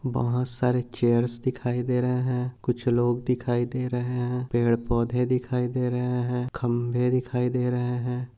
बहुत सारे चेयर्स दिखाई दे रहे है कुछ लोग दिखाई दे रहे है पेड़ पौधे दिखाई दे रहे है खंबे दिखाई दे रहे है।